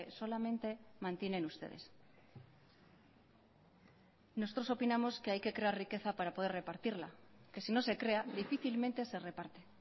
solamente mantienen ustedes nosotros opinamos que hay que crear riqueza para poder repartirla que si no se crea difícilmente se reparte